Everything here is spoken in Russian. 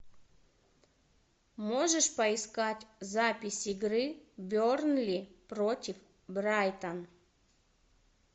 можешь поискать запись игры бернли против брайтон